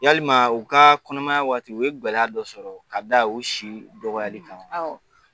Yalima u ka kɔnɔmaya waati u ye gɛlɛya dɔ sɔrɔ ka da u si dɔgɔyali kan wa